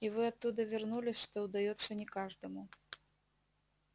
и вы оттуда вернулись что удаётся не каждому